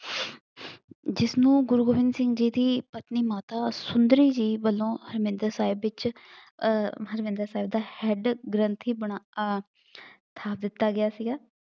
ਜਿਸਨੂੰ ਗੁਰੂ ਗੋਬਿੰਦ ਸਿੰਘ ਜੀ ਦੀ ਪਤਨੀ ਮਾਤਾ ਸੁੰਦਰੀ ਜੀ ਵਲੋਂ ਹਰਮਿੰਦਰ ਸਾਹਿਬ ਵਿੱਚ ਅਹ ਹਰਮਿੰਦਰ ਸਾਹਿਬ ਦਾ ਹੈਡ ਗ੍ਰੰਥੀ ਬਣਾ ਆਹ ਥਾਪ ਦਿੱਤਾ ਗਿਆ ਸੀਗਾ।